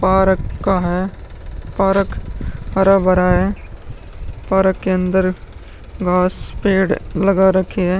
Park का है। Park हरा भरा है। पारक के अंदर घास पेड़ लगा रखे हैं।